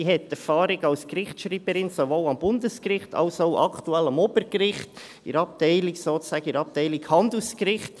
Sie hat Erfahrung als Gerichtsschreiberin, sowohl am Bundesgericht als auch aktuell am Obergericht, sozusagen in der Abteilung Handelsgericht.